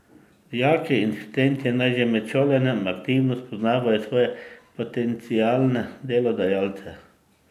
Dijaki in študenti naj že med šolanjem aktivno spoznavajo svoje potencialne delodajalce.